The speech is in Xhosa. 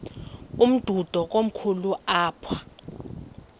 umdudo komkhulu apha